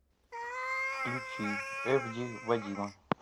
включи эфди вадима